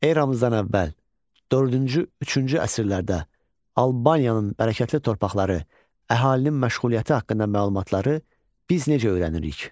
Eramızdan əvvəl dördüncü, üçüncü əsrlərdə Albaniyanın bərəkətli torpaqları, əhalinin məşğuliyyəti haqqında məlumatları biz necə öyrənirik?